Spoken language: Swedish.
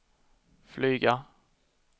flyga